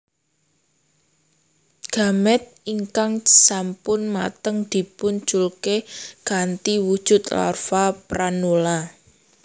Gamet ingkang sampun mateng dipun culke kanthi wujud larva pranula